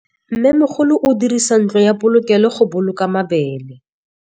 Mmêmogolô o dirisa ntlo ya polokêlô, go boloka mabele.